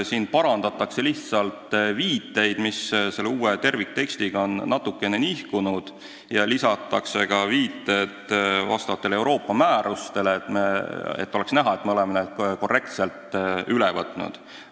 Siin parandatakse lihtsalt viiteid, mis uue tervikteksti tõttu on natukene nihkunud, ja lisatakse ka viited Euroopa määrustele, et oleks näha, et me oleme need korrektselt üle võtnud.